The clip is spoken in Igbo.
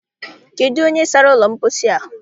Kedụ onye sara ụlọ mposi a?